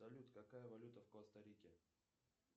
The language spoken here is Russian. салют какая валюта в коста рике